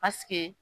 Pasike